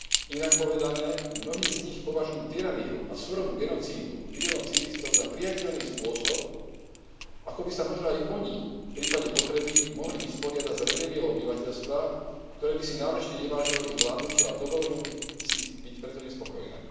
Inak povedané, mnohí z nich považujú tyraniu a surovú genocídu miliónov civilistov za prijateľný spôsob, ako by sa možno aj oni v prípade potreby mohli vysporiadať s rebéliou obyvateľstva, ktoré by si náležite nevážilo ich vládnutie a dovolilo by si byť preto nespokojné.